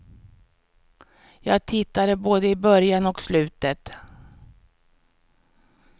Jag tittade både i början och slutet.